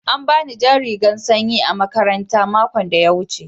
An bani jan rigan sanƴi a makaranta maƙon da ya wuce.